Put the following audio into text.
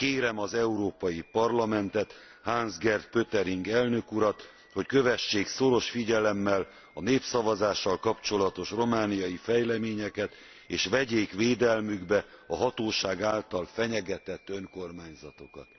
Kérem az Európai Parlamentet, Hans Gert Pöttering elnök urat, hogy kövessék szoros figyelemmel a népszavazással kapcsolatos romániai fejleményeket, és vegyék védelmükbe a hatóság által fenyegetett önkormányzatokat!